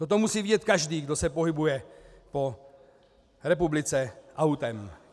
To musí vidět každý, kdo se pohybuje po republice autem.